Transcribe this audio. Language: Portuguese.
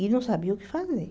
E não sabia o que fazer.